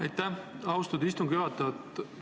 Aitäh, austatud istungi juhataja!